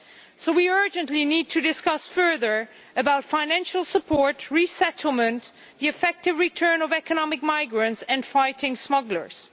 So we urgently need to discuss further about financial support, resettlement, the effective return of economic migrants and fighting smugglers.